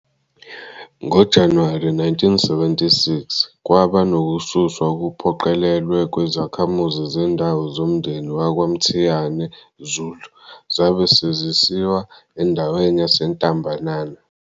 NgoJanuwari 1976, kwaba nokususwa okuphoqelelwe kwezakhamuzi zendawo zomndeni wakwaMthiyane Zulu zabe sezisiwa endaweni yaseNtambanana.